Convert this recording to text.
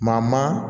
Maa maa maa